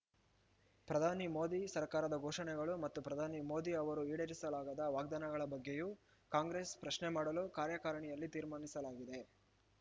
ಪ್ರಧಾನಿ ಮೋದಿ ಸರ್ಕಾರದ ಘೋಷಣೆಗಳು ಮತ್ತು ಪ್ರಧಾನಿ ಮೋದಿ ಅವರು ಈಡೇರಿಸಲಾಗದ ವಾಗ್ದಾನಗಳ ಬಗ್ಗೆಯೂ ಕಾಂಗ್ರೆಸ್ ಪ್ರಶ್ನೆ ಮಾಡಲು ಕಾರ್ಯಕಾರಿಣಿಯಲ್ಲಿ ತೀರ್ಮಾನಿಸಲಾಗಿದೆ